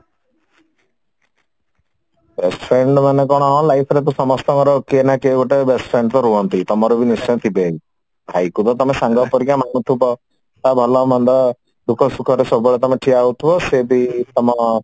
best friend ର ମାନେ କଣ ଆମ life ରେ ତ ସମସ୍ତଙ୍କର କିଏନା କିଏ ଗୋଟେ best friend ତ ରୁହନ୍ତି ତମର ବି ତ ନିଶ୍ଚୟ ଥିବେ ଭାଇକୁ ତ ତମେ ସାଙ୍ଗ ପରିକା ମାନୁଥିବ ତା ଭଲ ମନ୍ଦ ଦୁଖ ସୁଖରେ ସବୁବେଳେ ତମେ ଠିଆହଉଥିବ ସେ ବ ତମ